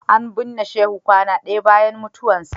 An binne Shehu kwana ɗaya bayan mutuwarsa.